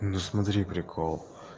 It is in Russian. ну смотри прикол